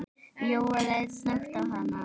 Jóel leit snöggt á hana.